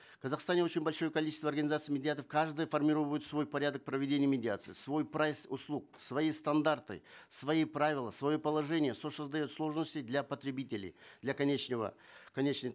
в казахстане очень большое количество организаций медиаторов каждое свой порядок проведения медиации свой прайс услуг свои стандарты свои правила свое положение что создает сложности для потребителей для конечного конечной